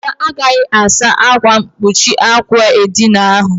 Ada agaghị asa ákwà mkpuchi àkwà edina ahụ.